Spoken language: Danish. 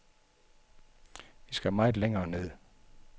Vi skal meget længere ned.